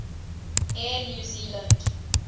air new zealand